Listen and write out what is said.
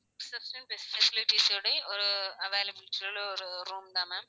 Facilities ஓட ஒரு availables ல உள்ள ஒரு room தான் ma'am